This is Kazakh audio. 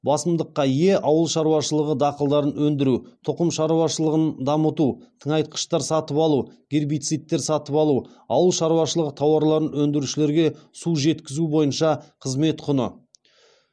басымдыққа ие ауыл шаруашылығы дақылдарын өндіру тұқым шаруашылығын дамыту тыңайтқыштар сатып алу гербицидтер сатып алу ауыл шаруашылығы тауарларын өндірушілерге су жеткізу бойынша қызмет құны